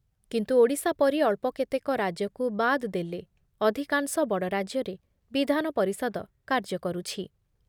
କିନ୍ତୁ ଓଡ଼ିଶା ପରି ଅଳ୍ପ କେତେକ ରାଜ୍ୟକୁ ବାଦ୍ ଦେଲେ ଅଧିକାଂଶ ବଡ଼ ରାଜ୍ୟରେ ବିଧାନ ପରିଷଦ କାର୍ଯ୍ୟ କରୁଛି ।